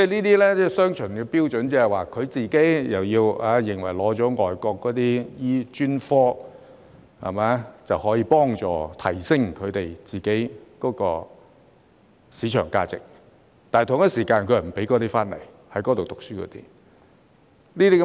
這是雙重標準，他們認為取得外國專科資格可以幫助提升自己的市場價值，但又不願在外國讀書的醫生回來執業。